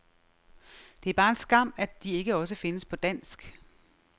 Det er bare en skam, de ikke også findes på dansk.